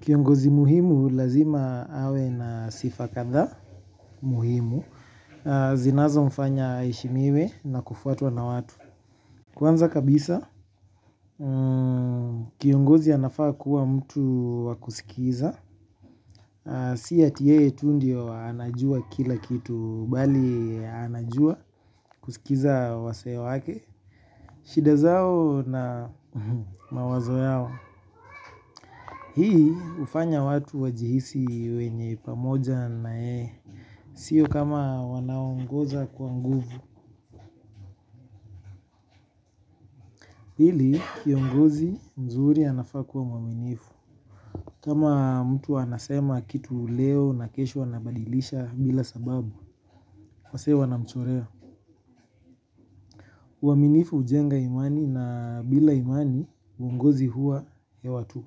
Kiongozi muhimu lazima awe na sifa kadhaa muhimu. Zinazo mfanya aheshimiwe na kufuatwa na watu. Kwanza kabisa kiongozi anafaa kuwa mtu wakusikiza. Si ati yeye tu ndio anajua kila kitu bali anajua kusikiliza wasee wake. Shida zao na mawazo yao. Hii hufanya watu wajihisi wenye pamoja na yeye. Sio kama wanaongoza kwa nguvu ili kiongozi mzuri anafaa kuwa mwaminifu. Kama mtu anasema kitu leo na kesho anabadilisha bila sababu wasee wana mchorea uaminifu hujenga imani na bila imani uongozi huwa ya watu.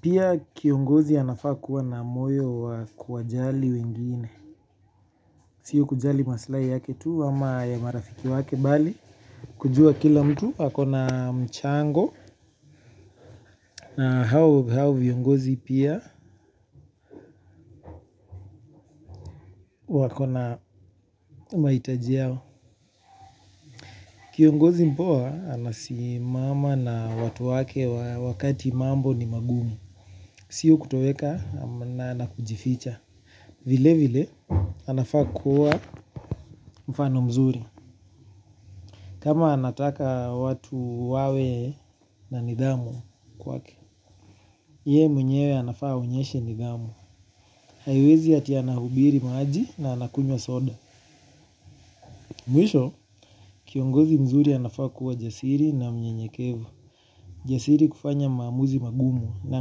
Pia kiongozi anafakuwa na moyo wa kuwajali wengine. Sio kujali maslai yake tu ama ya marafiki wake bali kujua kila mtu ako na mchango na hao viongozi pia wakona mahitaji yao. Kiongozi mpoa anasimama na watu wake wakati mambo ni magumu. Sio kutoweka na kujificha. Vile vile anafaa kuwa mfano mzuri kama anataka watu wawe na nidhamu kwake yeye mwenyewe anafaa aonyeshe nidhamu. Haiwezi ati anahubiri maji na anakunywa soda. Mwisho, kiongozi mzuri anafaa kuwa jasiri na mnyenyekevu. Jasiri kufanya maamuzi magumu na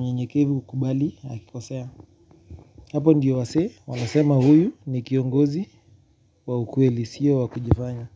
mnyenyekevu hukubali hakikosea. Hapo ndio wasee, wanasema huyu ni kiongozi waukweli sio wa kujifanya.